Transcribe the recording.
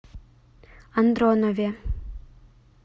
андронове